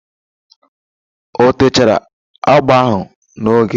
O techara agba ahụ n'oge?